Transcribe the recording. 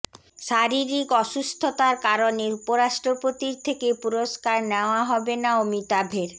শারীরিক অসুস্থতার কারণে উপরাষ্ট্রপতির থেকে পুরস্কার নেওয়া হবে না অমিতাভের